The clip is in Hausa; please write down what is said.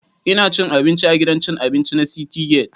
Ina cin abinci a gidan cin abinci na citygate